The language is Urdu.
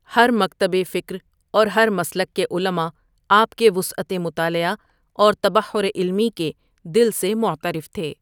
ہر مکتب فکر اور ہر مسلک کے علما آپ کے وسعت مطالعہ اور تبحر علمی کے دل سےمعترف تھے ۔